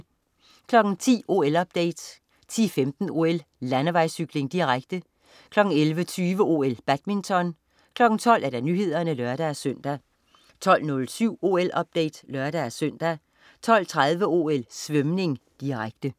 10.00 OL-update 10.15 OL: Landevejscykling, direkte 11.20 OL: Badminton 12.00 Nyhederne (lør-søn) 12.07 OL-update (lør-søn) 12.30 OL: Svømning, direkte